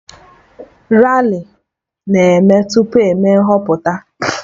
Rali na-eme tupu eme nhọpụta